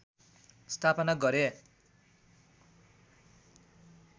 स्थापना गरे